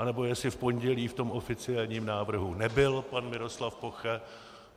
Anebo jestli v pondělí v tom oficiálním návrhu nebyl pan Miroslav Poche?